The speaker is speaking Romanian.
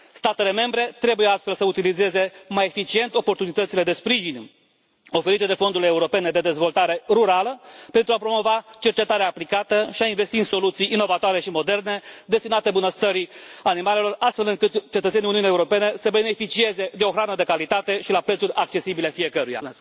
Statele membre trebuie astfel să utilizeze mai eficient oportunitățile de sprijin oferite de fondurile europene de dezvoltare rurală pentru a promova cercetarea aplicată și a investi în soluții inovatoare și moderne destinate bunăstării animalelor, astfel încât cetățenii Uniunii Europene să beneficieze de o hrană de calitate și la preturi accesibile fiecăruia.